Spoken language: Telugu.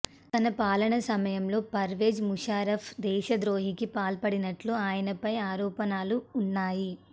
తన పాలనా సమయంలో పర్వేజ్ ముషర్రాఫ్ దేశద్రోహానికి పాల్పడినట్లు ఆయనపై ఆరోపణలు ఉన్నాయి